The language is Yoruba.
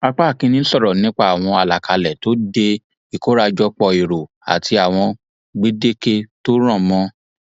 apá kìínní sọrọ nípa àwọn alákálẹ tó dé ìkórajòpó èrò àti àwọn gbèdéke tó rọ mọ ọn